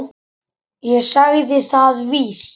Ég sagði það víst.